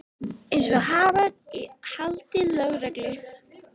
Eins og haförn í haldi lögreglu.